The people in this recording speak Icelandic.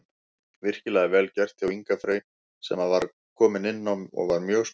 Virkilega vel gert hjá Inga Frey sem að var nýkominn inná og var mjög sprækur.